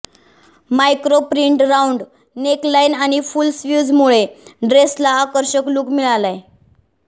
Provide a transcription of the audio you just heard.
micro print round neckline आणि full स्लीव्ह्जमुळे ड्रेसला आकर्षक लुक मिळालाय